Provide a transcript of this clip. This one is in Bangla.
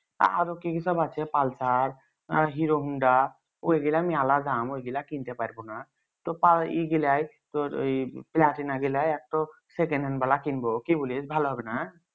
আরো কি সব আছে pulsarhero honda ঐগিলা মেলা দাম ঐগিলা কিনতে পারবোনা তোর ই গিলাই তোর ওই platina গিলাই একটা secondhand বালা কিনবো কি বলিস ভালো হবে না